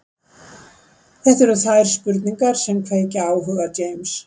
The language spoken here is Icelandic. Þetta eru þær spurningar sem kveikja áhuga James.